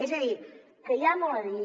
és a dir que hi ha molt a dir